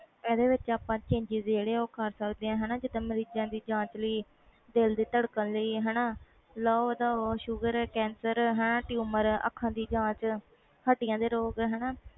ਜਿਹੜੇ ਵਿਚ ਨਾ ਕਰ ਸਕਦੇ ਆ ਜੀਦਾ ਮਰੀਜਾਂ ਦੀ ਜਾਂਚ ਲਈ ਦਿਲ ਦੀ ਧੜਕਣ ਲਈ ਲਹੂ ਦਾ ਸ਼ੁਗਰ ਕੈਂਸਰ tumour ਅੱਖਾਂ ਦੀ ਜਾਂਚ ਹੱਡੀਆਂ ਤੇ ਰੋਗ